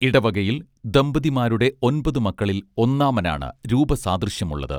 ഇടവകയിൽ ദമ്പതിമാരുടെ ഒൻപതു മക്കളിൽ ഒന്നാമനാണ് രൂപസാദൃശ്യമുള്ളത്